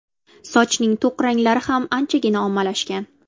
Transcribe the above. Sochning to‘q ranglari ham anchagina ommalashgan.